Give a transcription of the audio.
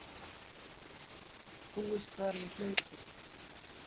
Búist var við hlaupi.